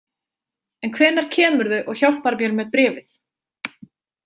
En hvenær kemurðu og hjálpar mér með bréfið?